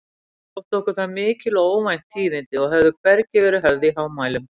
Þóttu okkur það mikil og óvænt tíðindi og höfðu hvergi verið höfð í hámælum.